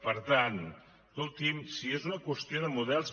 per tant escolti’m si és una qüestió de models